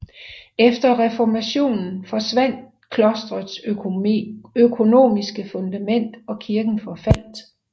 Efter reformationen forsvandt klostrets økonomiske fundament og kirken forfaldt